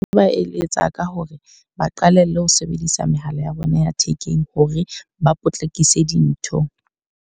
Nka ba eletsa ka hore ba qalelle ho sebedisa mehala ya bona ya thekeng, hore ba potlakise dintho.